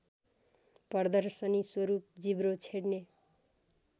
प्रदर्शनीस्वरूप जिब्रो छेड्ने